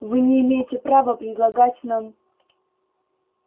вы не имеете права предлагать нам